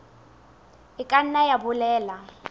e ka nna ya bolela